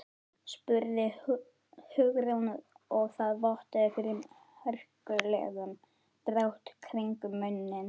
spurði Hugrún og það vottaði fyrir hörkulegum dráttum kringum munninn.